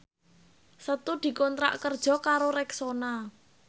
Setu dikontrak kerja karo Rexona